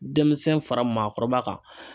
Denmisɛn fara maakɔrɔba kan.